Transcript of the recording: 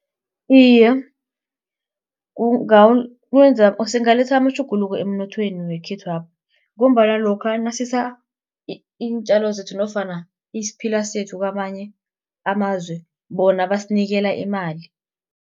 Iye, singaletha amatjhuguluko emnothweni wekhethwapha ngombana lokha nasisa iintjalo zethu nofana isiphila sethu kwamanye amazwe bona basinikela imali.